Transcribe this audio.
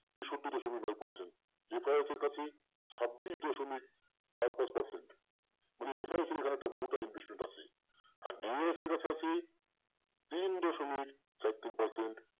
তেষট্টি দশমিক নয় percent ছাব্বিশ দশমিক চার পাঁচ percent এখানে একটা মোটা investment আছে। আর তিন দশমিক চার তিন percent